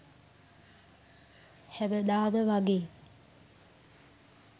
හැමදාම වගේ